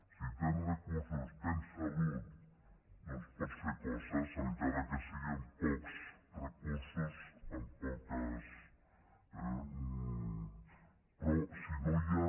si tens recursos tens salut doncs pots fer coses encara que sigui amb pocs recursos però si no hi ha